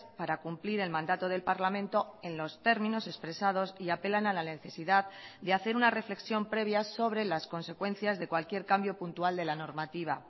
para cumplir el mandato del parlamento en los términos expresados y apelan a la necesidad de hacer una reflexión previa sobre las consecuencias de cualquier cambio puntual de la normativa